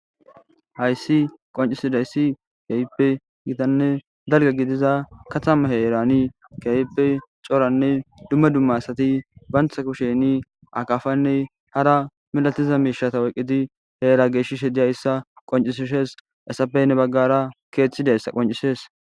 hayssi qoncisidayssi gayppe gitanne dalga gidiza katama heerani gayppe coranne dumma dumma asati bantha kusheni akafanne hara milatiza miishata weqqidi heera geeshi she diyayssa qoncisishees esapeynne baggara keeththidayssa qoncisees